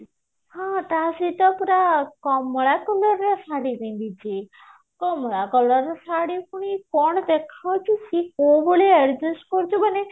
ହଁ ତା ସହିତ ପୁରା କମଳା color ଶାଢୀ ପିନ୍ଧିଛି କମଳା color ଶାଢୀ କଣ ଦେଖା ଯାଉଛି ସେ କୋଉ ଭଳିଆ adjust କରୁଛି ମାନେ